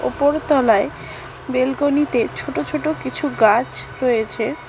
উপর তলায় বেলকনিতে ছোট ছোট কিছু গাছ রয়েছে।